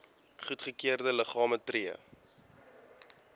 goedgekeurde liggame tree